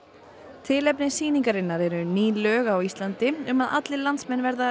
tilefni sýningarinnar eru ný lög á Íslandi um að allir landsmenn verða